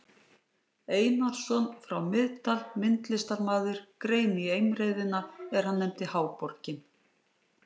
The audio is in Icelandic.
Einarsson frá Miðdal, myndlistarmaður, grein í Eimreiðina, er hann nefndi Háborgin.